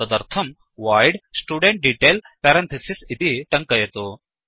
तदर्थम् void studentDetail इति टङ्कयतु